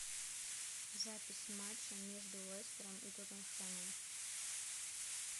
запись матча между лестером и тоттенхэмом